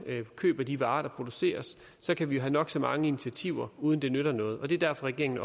køber de varer der produceres så kan vi have nok så mange initiativer uden det nytter noget det er derfor regeringen